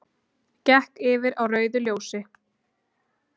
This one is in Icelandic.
Gekk yfir á rauðu ljósi